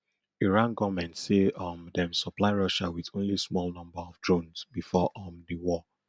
iran goment say um dem supply russia wit only small number of drones bifor um di war